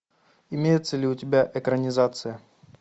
имеется ли у тебя экранизация